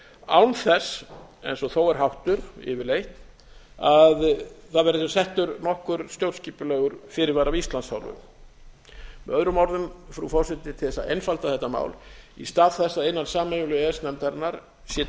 án þess eins og þó er háttur yfirleitt að það verði settur nokkur stjórnskipulegur fyrirvari af íslands hálfu með öðrum orðum frú forseti til þess að einfalda þetta mál í stað þess að innan sameiginlegu e e s nefndarinnar sé